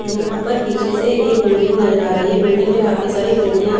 यहाँ पर पिछे से एक बिल्डिंग नज़र आ रही है बिल्डिंग में काफी साडी खीडकिया --